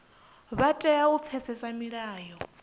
vha tea u pfesesa milayo